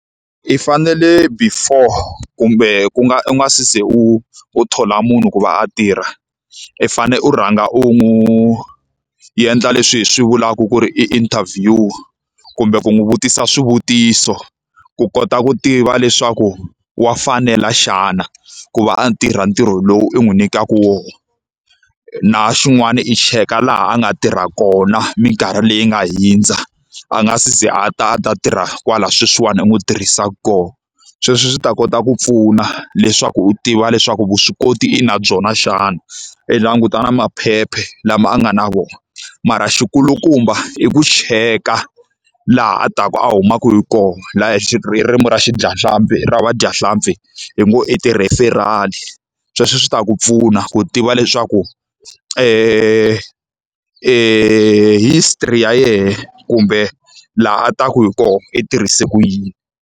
I fanele before kumbe ku nga u nga se za u u thola munhu ku va a tirha, i fanele u rhanga u n'wi endla leswi hi swi vulaka ku ri i interview. Kumbe ku n'wi vutisa swivutiso ku kota ku tiva leswaku wa fanela xana ku va a tirha ntirho lowu i n'wi nyikaka wona. Na xin'wana i cheka laha a nga tirha kona minkarhi leyi nga hundza, a nga si ze a ta a ta tirha kwala sweswiwani i n'wi tirhisaka kona. Sweswo swi ta kota ku pfuna leswaku u tiva leswaku vuswikoti i na byona xana. I languta na maphepha lama a nga na wona. Mara xi kulukumba i ku cheka laha a taka a humaka hi kona, laha hi hi ririmi ra xi dya nhlampfi ra vadyahlampfi hi ngo i ti-referral. Sweswo swi ta ku pfuna ku tiva leswaku history ya yena kumbe laha a taka hi kona i tirhise ku yini.